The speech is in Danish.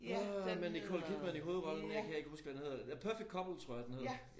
Øh med Nicole Kidman i hovedrollen den kan jeg ikke huske hvad den hedder Perfect Couple tror jeg den hedder